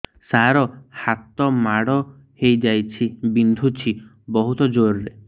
ସାର ହାତ ମାଡ଼ ହେଇଯାଇଛି ବିନ୍ଧୁଛି ବହୁତ ଜୋରରେ